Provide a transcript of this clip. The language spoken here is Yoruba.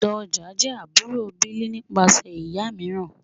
Doja jẹ́ àbúrò Bill nípasẹ̀ ìyá mìíràn.